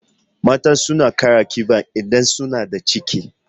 Mata suna kara ƙiba idan suna da ciki